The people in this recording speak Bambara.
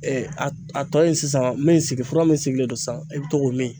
a tɔ in sisan min sigi fura min sigilen don sisan i bɛ to k'o min